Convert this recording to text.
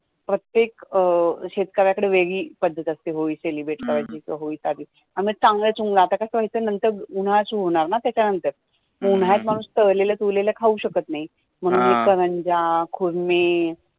प्रत्येक अं शेतक-या कडे वेगळी पद्धत असते होळी celebrate करायची होळीच्या अधि आणी चांगला चुंगलं उन्हाळा सुरु होणार न नंतर उन्हाळ्यात माणुस तळलेलं तुरलेलं खाऊ शकत नाही म्हणुन करंज्या खुर्मी